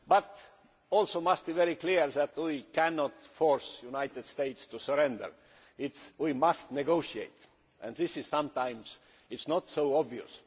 But it must also be very clear that we cannot force the United States to surrender we must negotiate and this is sometimes not so obvious.